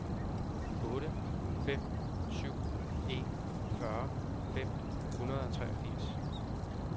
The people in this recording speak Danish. otte fem syv en fyrre fem hundrede og fireogtres